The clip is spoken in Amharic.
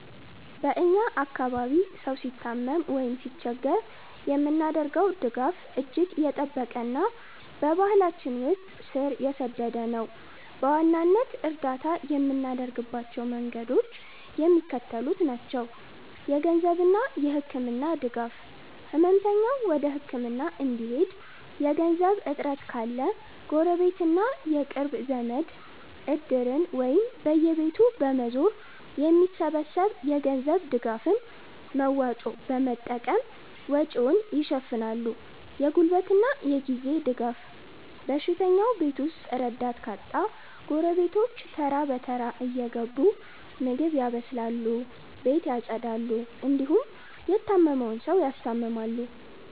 በ እኛ አካባቢ ሰው ሲታመም ወይም ሲቸገር የምናደርገው ድጋፍ እጅግ የጠበቀና በባህላችን ውስጥ ስር የሰደደ ነው። በዋናነት እርዳታ የምናደርግባቸው መንገዶች የሚከተሉት ናቸው -የገንዘብና የህክምና ድጋፍ፦ ህመምተኛው ወደ ህክምና እንዲሄድ የገንዘብ እጥረት ካለ፣ ጎረቤትና የቅርብ ዘመድ "እድር"ን ወይም በየቤቱ በመዞር የሚሰበሰብ የገንዘብ ድጋፍን (መዋጮ) በመጠቀም ወጪውን ይሸፍናሉ። የጉልበትና የጊዜ ድጋፍ፦ በሽተኛው ቤት ውስጥ ረዳት ካጣ፣ ጎረቤቶች ተራ በተራ እየገቡ ምግብ ያበስላሉ፣ ቤት ያፀዳሉ እንዲሁም የታመመውን ሰው ያስታምማሉ።